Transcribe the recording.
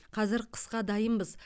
қазір қысқа дайынбыз